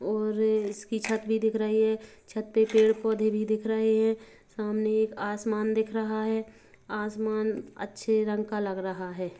और इसकी छत भी दिख रही हैं छत पे पेड़ पौधे भी दिख रहे हैं सामने एक आसमान दिख रहा हैं आसमान अच्छे रंग का लग रहा हैं।